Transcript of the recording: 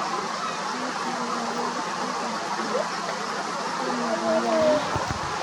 Matindo ngalolutik ak lakwet nyin ak malilone